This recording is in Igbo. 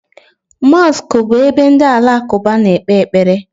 Mosiki bu ebe ndi alakuba na-ekpe ekpere